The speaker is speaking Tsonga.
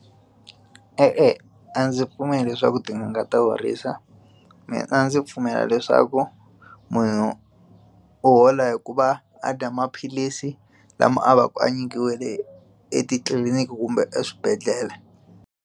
E-e, a ndzi pfumeli leswaku tin'anga ta horisa mina a ndzi pfumela leswaku munhu u hola hikuva a dya maphilisi lama a va ku a nyikiwile etitliliniki kumbe eswibedhlele.